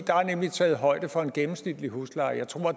er nemlig taget højde for en gennemsnitlig husleje jeg tror